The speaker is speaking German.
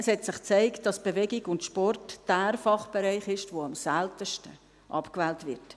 Es hat sich gezeigt, dass Bewegung und Sport jener Fachbereich ist, der am seltensten abgewählt wird.